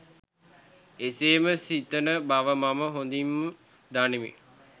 එසේම සිතන බව මම හොඳින් දනිමි.